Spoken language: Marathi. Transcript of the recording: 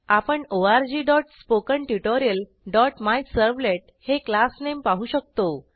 आपण orgspokentutorialमिझर्व्हलेट हे क्लासनेम पाहू शकतो